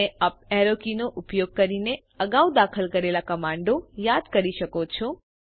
તમે U P arrow કીનો ઉપયોગ કરીને અગાઉ દાખલ કરેલા કમાન્ડો યાદ કરી શકો છો